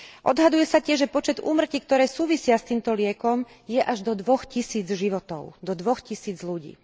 Odhaduje sa tiež, že počet úmrtí, ktoré súvisia s týmto liekom, je až do dvoch tisíc životov, do dvoch tisíc ľudí.